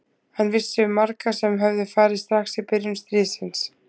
Hann vissi um marga sem höfðu farið strax í byrjun stríðsins.